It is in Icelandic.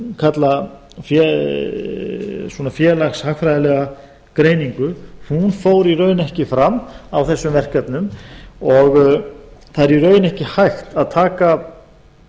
kalla svona félagshagfræðileg greiningu hún fór í raun ekki fram á þessum verkefnum það er í raun ekki hægt að taka